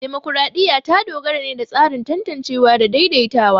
Dimokuradiyya ta dogara ne da tsarin tantancewa da daidaitawa.